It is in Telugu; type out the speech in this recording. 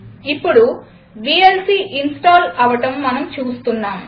ఇప్పుడు వీఎల్సీ ఇన్స్టాల్ అవడం మనం చూస్తున్నాం